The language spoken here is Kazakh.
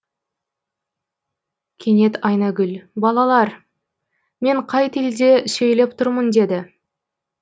кенет айнагүл балалар мен қай тілде сөйлеп тұрмын деді